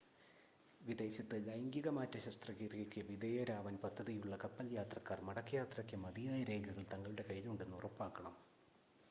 വിദേശത്ത് ലൈംഗികമാറ്റ ശസ്ത്രക്രിയക്ക് വിധേയരാവാൻ പദ്ധതിയുള്ള കപ്പൽ യാത്രക്കാർ മടക്കയാത്രയ്ക്ക് മതിയായ രേഖകൾ തങ്ങളുടെ കയ്യിലുണ്ടെന്ന് ഉറപ്പാക്കണം